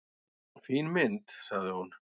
"""Fín mynd, sagði hún."""